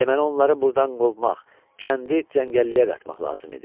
Deməli onları burdan qovmaq, kəndi cəngəlliyə qatmaq lazım idi.